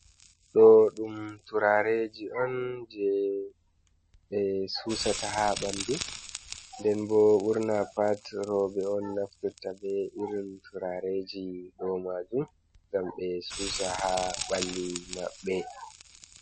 Ɗo ɗum turareeji on, jey ɓe suusata haa ɓanndu, nden bo ɓurna pat, rowɓe on naftirta be irin turareji ɗo maajum, ngam ɓe suusa haa ɓalli maɓɓe.